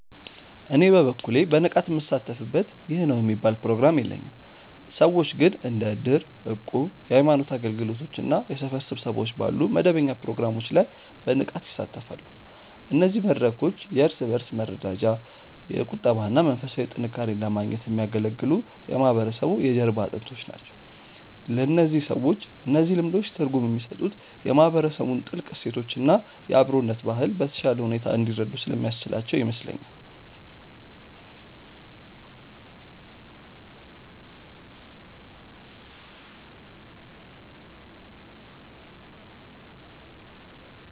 እኔ በበኩሌ በንቃት ምሳተፍበት ይህ ነው የሚባል ፕሮግራም የለኝም። ሰዎች ግን እንደ እድር፣ እቁብ፣ የሃይማኖት አገልግሎቶች እና የሰፈር ስብሰባዎች ባሉ መደበኛ ፕሮግራሞች ላይ በንቃት ይሳተፋሉ። እነዚህ መድረኮች የእርስ በእርስ መረዳጃ፣ የቁጠባ እና መንፈሳዊ ጥንካሬን ለማግኘት የሚያገለግሉ የማህበረሰቡ የጀርባ አጥንቶች ናቸው። ለእነዚህ ሰዎች እነዚህ ልምዶች ትርጉም የሚሰጡት የማህበረሰቡን ጥልቅ እሴቶች እና የአብሮነት ባህል በተሻለ ሁኔታ እንዲረዱ ስለሚያስችላቸው ይመስለኛል።